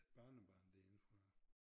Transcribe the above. Barnebarn derindefra